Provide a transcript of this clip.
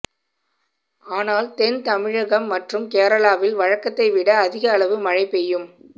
ஆனால் தென் தமிழகம் மற்றும் கேரளாவில் வழக்கத்தை விட அதிக அளவு மழை பெய்யும்